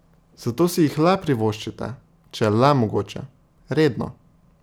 Zato si jih le privoščite, če je le mogoče, redno.